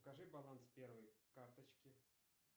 покажи баланс первой карточки